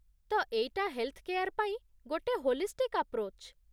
ତ ଏଇଟା health care ପାଇଁ ଗୋଟେ ହୋଲିଷ୍ଟିକ୍ ଆପ୍ରୋଚ୍ ।